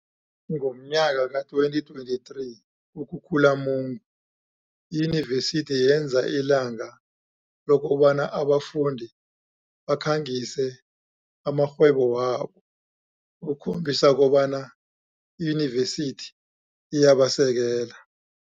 Ngomnyaka ka-2023 kuKhukhulamungu, iYunivesithi yenza ilanga lokobana abafundi bakhangise amarhwebo wabo ukukhombisa kobana i-Yunivesithi iyabasekela.